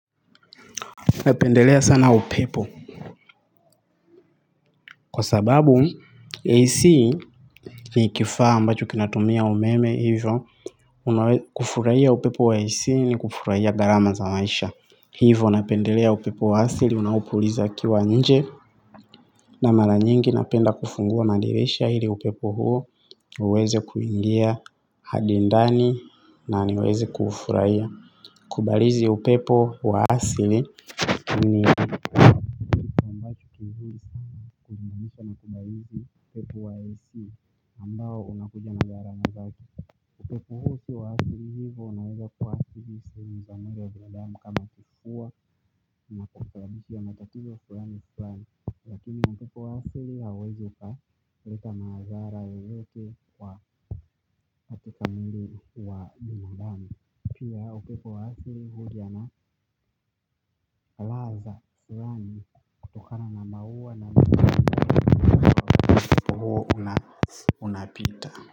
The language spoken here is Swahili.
Napendelea sana upepo. Kwa sababu AC ni ikifaa ambacho kinatumia umeme hivyo. Kufurahia upepo wa AC ni kufurahia gharama za maisha. Hivyo napendelea upepo wa hasili unaopuliza ukiwa nje. Na mara nyingi napenda kufungua madirisha hili upepo huo uweze kuingia hadi ndani na niweze kuufurahia. Kubalizi upepo wa asili ni ambacho pepu wa esi ambao unakuja na garsma zake na zaati upepo huu siwa asili hivo unaweza kuwa asili sehemu za mwili wa binadamu kama kukua na kukusababishia matatizo fulani wa fulani lakini na upepo wa asili hauwezi uka leta maazara yoyote wa hatika mwiki wa biadamu pia upepo wa asili huja na laha za fulani tokana mahuwa na mtipo huo unapita.